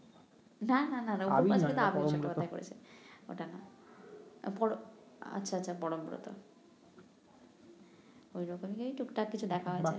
না না অপুর প্যাচালি তো আবির চট্টপধ্যায় করেছে ওটা না আচ্ছা আচ্ছা পরমব্রত ঐ রকমই টুকটাক কিছু দেখা হয়